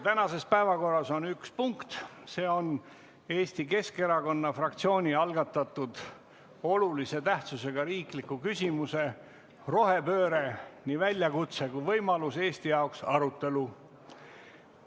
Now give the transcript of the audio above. Tänases päevakorras on üks punkt, see on Eesti Keskerakonna fraktsiooni algatatud olulise tähtsusega riikliku küsimuse "Rohepööre – nii väljakutse kui võimalus Eesti jaoks" arutelu.